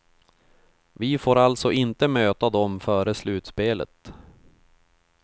Vi får alltså inte möta dem före slutspelet.